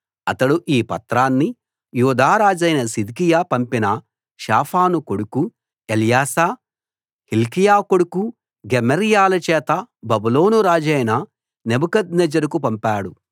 అతడు ఈ పత్రాన్ని యూదా రాజైన సిద్కియా పంపిన షాఫాను కొడుకు ఎల్యాశా హిల్కీయా కొడుకు గెమర్యాల చేత బబులోను రాజైన నెబుకద్నెజరుకు పంపాడు